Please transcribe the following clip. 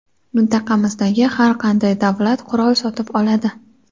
mintaqamizdagi har qanday davlat qurol sotib oladi.